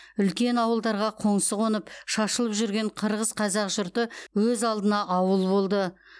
үлкен ауылдарға қоңсы қонып шашылып жүрген қырғыз қазақ жұрты өз алдына ауыл болды